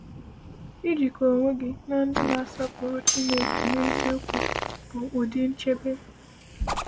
“Ijikọ onwe gị na ndị na-asọpụrụ Chineke n’eziokwu bụ ụdị nchebe.”